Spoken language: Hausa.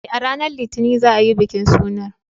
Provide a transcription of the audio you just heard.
Eh, a ranar Litinin za a yi bikin sunan.